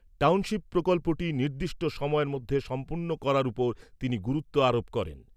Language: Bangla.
টাউনশিপ প্রকল্পটি নির্দিষ্ট সময়ের মধ্যে সম্পন্ন করার উপর তিনি গুরুত্ব আরোপ করেন।